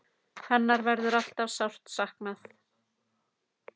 Hennar verður alltaf sárt saknað!